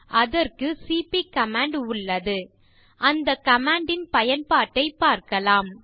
அதற்கு CP command உள்ளது அந்த கமாண்ட் இன் பயன்பட்டைப் பார்க்கலாம்